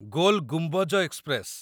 goal Gumbaz express